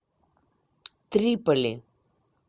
триполи